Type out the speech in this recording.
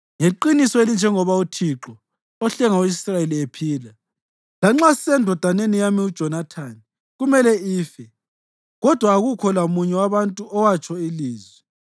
Ngeqiniso elinjengoba uThixo ohlenga u-Israyeli ephila, lanxa sisendodaneni yami uJonathani, kumele ife.” Kodwa akukho lamunye wabantu owatsho ilizwi.